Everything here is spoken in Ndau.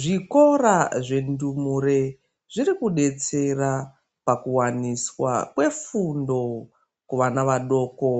Zvikora zvendumure zviri kudetsera pakuwaniswa kwefundo kuvana vadoko